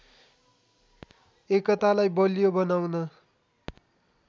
एकतालाई बलियो बनाउन